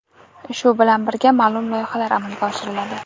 shu bilan birga ma’lum loyihalar amalga oshiriladi.